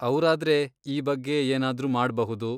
ಅವ್ರಾದ್ರೆ ಈ ಬಗ್ಗೆ ಏನಾದ್ರು ಮಾಡ್ಬಹುದು.